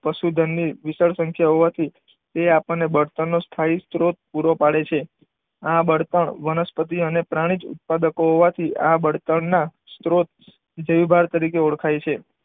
પશુધનની વિશાળ સંખ્યા હોવાથી તે આપણને બળતણનું સ્થાયી સ્ત્રોત પૂરો પાડે છે. આ બળતણ વનસ્પતિ અને પ્રાણીજ ઉત્પાદક હોવાથી, આ બળતણના સ્ત્રોત જૈવભાર તરીકે ઓળખાય છે.